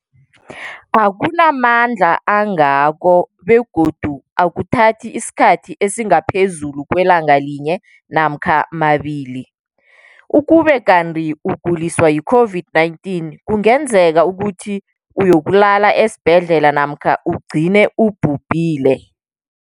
akuna mandla angako begodu akuthathi isikhathi esingaphezulu kwelanga linye namkha mabili, ukube kanti ukuguliswa yi-COVID-19 kungenza ukuthi uyokulala esibhedlela namkha ugcine ubhubhile.